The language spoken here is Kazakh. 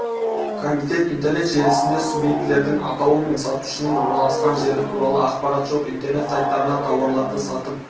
комитет интернет желісінде субъектілердің атауы мен сатушының орналасқан жері туралы ақпарат жоқ интернет сайттарында тауарларды сатып